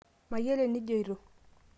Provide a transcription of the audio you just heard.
mayiolo eninjioto